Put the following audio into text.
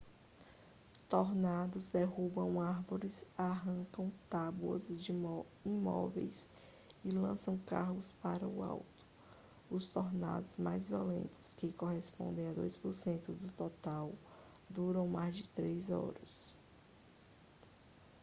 tornados derrubam árvores arrancam tábuas de imóveis e lançam carros para o alto os tornados mais violentos que correspondem a 2% do total duram mais de três horas